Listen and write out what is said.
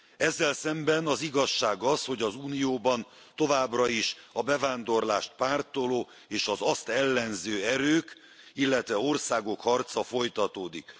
Ezzel szemben az igazság az, hogy az Unióban továbbra is a bevándorlást pártoló és az azt ellenző erők, illetve országok harca folytatódik.